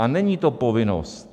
A není to povinnost.